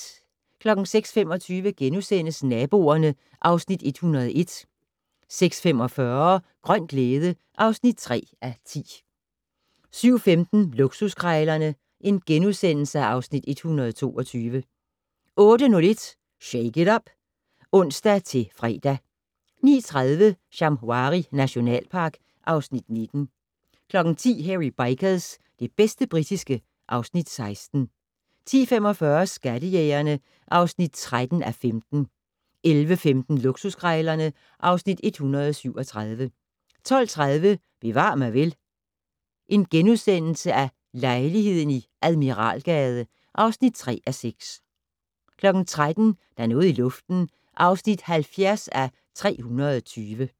06:25: Naboerne (Afs. 101)* 06:45: Grøn glæde (3:10) 07:15: Luksuskrejlerne (Afs. 122)* 08:01: Shake it up! (ons-fre) 09:30: Shamwari nationalpark (Afs. 19) 10:00: Hairy Bikers - det bedste britiske (Afs. 16) 10:45: Skattejægerne (13:15) 11:15: Luksuskrejlerne (Afs. 137) 12:30: Bevar mig vel: Lejligheden i Admiralgade (3:6)* 13:00: Der er noget i luften (70:320)